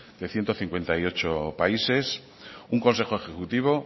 de ciento cincuenta y ocho países un consejo ejecutivo